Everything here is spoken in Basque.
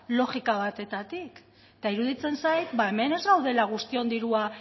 logika batetatik eta iruditzen zait ba hemen ez gaudela guztion dirua